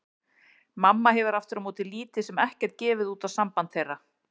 Mamma hefur aftur á móti lítið sem ekkert gefið út á samband þeirra.